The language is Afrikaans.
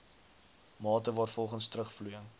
mate waarvolgens terugvloeiing